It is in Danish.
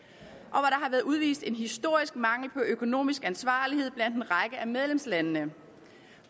har været udvist en historisk mangel på økonomisk ansvarlighed blandt en række af medlemslandene